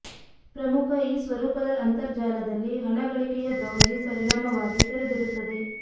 ಪ್ರಮುಖ ಈ ಸ್ವರೂಪದ ಅಂತರ್ಜಾಲದಲ್ಲಿ ಹಣ ಗಳಿಕೆಯ ಬ್ರೌಸಿಂಗ್ ಪರಿಣಾಮವಾಗಿ ತೆರೆದಿಡುತ್ತದೆ